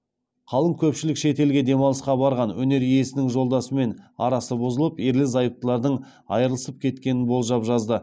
қалың көпшілік шетелге демалысқа барған өнер иесінің жолдасымен арасы бұзылып ерлі зайыптылардың айырылысып кеткенін болжап жазды